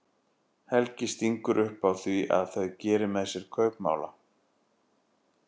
Helgi stingur upp á því að þau geri með sér kaupmála.